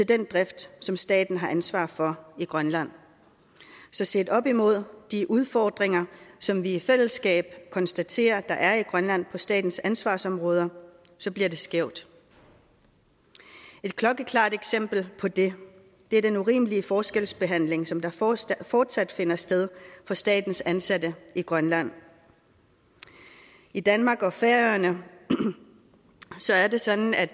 den drift som staten har ansvar for i grønland så set op imod de udfordringer som vi i fællesskab konstaterer der er i grønland på statens ansvarsområder bliver det skævt et klokkeklart eksempel på det er den urimelige forskelsbehandling som fortsat fortsat finder sted for statens ansatte i grønland i danmark og færøerne er det sådan at